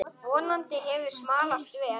Vonandi hefur smalast vel.